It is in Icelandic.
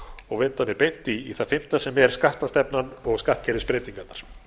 og vinda mér beint í það fimmta sem er skattastefnan og skattkerfisbreytingarnar